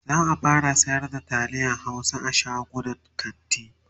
za'a fara sayar da taliyan Hausa a shagunan kanti